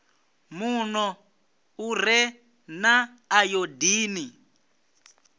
muno u re na ayodini